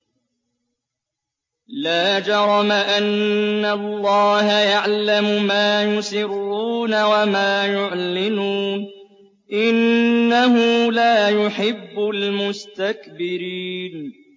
لَا جَرَمَ أَنَّ اللَّهَ يَعْلَمُ مَا يُسِرُّونَ وَمَا يُعْلِنُونَ ۚ إِنَّهُ لَا يُحِبُّ الْمُسْتَكْبِرِينَ